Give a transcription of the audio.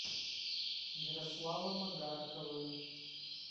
ярославом агарковым